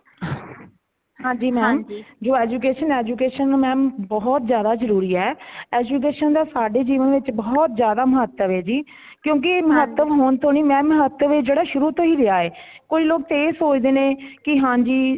ਹਾਂਜੀ mam ਜੋ education ,education mam ਬਹੁਤ ਜ਼ਿਆਦਾ ਜਰੂਰੀ ਹੈ। education ਦਾ ਸਾਡੇ ਜੀਵਨ ਵਿੱਚ ਬਹੁਤ ਜ਼ਿਆਦਾ ਮਹਤੱਵ ਹੈ ਜੀ , ਕਿਉਂਕਿ ਇਹ ਮਹਤੱਵ ਹੋਣ ਤੋਂ ਨਹੀਂ mam ਮਹਤੱਵ ਸ਼ੁਰੂ ਤੋਂ ਹੀ ਰਿਹਾ ਹੈ ਕਈ ਲੋਗ ਇਹ ਸੋਚਦੇ ਨੇ ਕੀ ਹਾਂਜੀ